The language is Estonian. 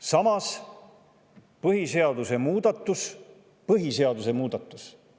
Samas, põhiseaduse muudatuse – põhiseaduse muudatuse!